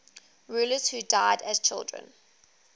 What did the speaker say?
rulers who died as children